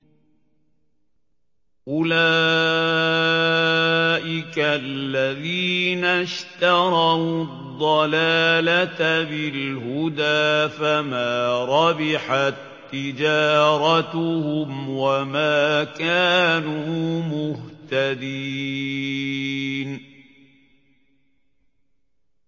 أُولَٰئِكَ الَّذِينَ اشْتَرَوُا الضَّلَالَةَ بِالْهُدَىٰ فَمَا رَبِحَت تِّجَارَتُهُمْ وَمَا كَانُوا مُهْتَدِينَ